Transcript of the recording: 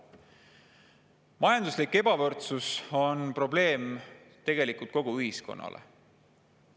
Majanduslik ebavõrdsus on probleem tegelikult kogu ühiskonnale.